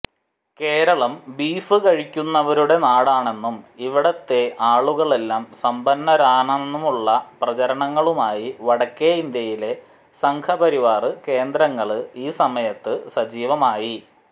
Keralam beef കഴിക്കുന്നവരുടെ നടാണെന്നും ഇവിടത്തെ ആളുകളെല്ലാം സമ്പന്നരാണെന്നുമുള്ള പ്രചരണങ്ങളുമായി വടക്കേ ഇന്ത്യയിലെ സംഘപരിവാര് കേന്ദ്രങ്ങള് ഈ സമയത്ത് സജീവമായി